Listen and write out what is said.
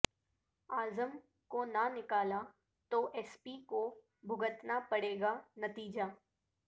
اعظم کو نہ نکالا تو ایس پی کو بھگتنا پڑے گا نتیجہ